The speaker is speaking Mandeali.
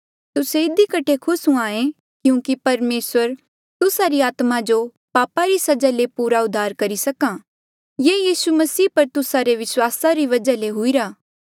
तुस्से इधी कठे खुस हुंहां ऐें क्यूंकि परमेसर तुस्सा री आत्मा जो पापा री सजा ले पूरा उद्धार करी करहा ये यीसू मसीह पर तुस्सा रे विस्वासा री वजहा ले हुईरा